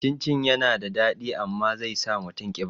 Cin cin yana da daɗi amma zai sa mutum ƙiba